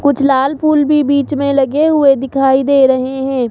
कुछ लाल फूल भी बीच में लगे हुए दिखाई दे रहे है।